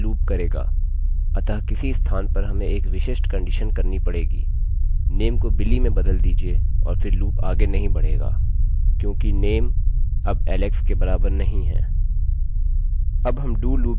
जब तक name name = Alex है यह लूपloop करेगा अतः किसी स्थान पर हमें एक विशिष्ट कंडीशन कहनी पड़ेगी नेमname को billy में बदल दीजिये और फिर लूपloop आगे नहीं बढेगा क्योंकि नेमname अब एलेक्सalex के बराबर नहीं है